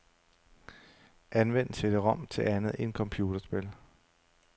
Anvend cd-rom til andet end computerspil.